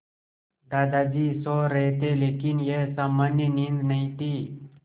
दादाजी सो रहे थे लेकिन यह सामान्य नींद नहीं थी